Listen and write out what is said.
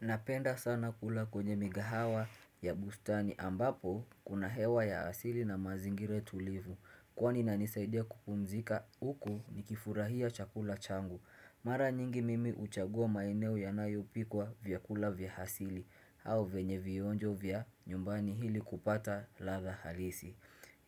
Napenda sana kula kwenye mikahawa ya bustani ambapo kuna hewa ya asili na mazingira tulivu. Kwani inanisaidia kupumzika huku nikifurahia chakula changu. Mara nyingi mimi huchagua maeneo yanayopikwa vyakula vya asili au vyenye vionjo vya nyumbani ili kupata ladha halisi